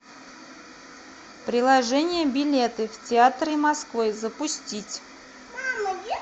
приложение билеты в театры москвы запустить